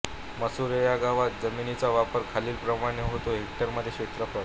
मसुरे ह्या गावात जमिनीचा वापर खालीलप्रमाणे होतो हेक्टरमध्ये क्षेत्रफळ